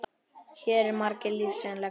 Hér eru margar lífsins lexíur.